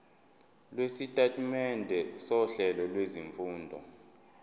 lwesitatimende sohlelo lwezifundo